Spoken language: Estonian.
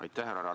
Aitäh!